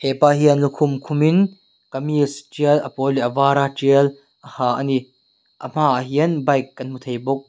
pa hian lukhum khum in kamis tial a pawl leh var a tial a ha a ni a hma ah hian bike kan hmu thei bawk.